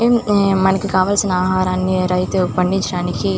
ఉమ్ మనకి కావలసిన ఆహారాన్ని రైతు పండించడానికి --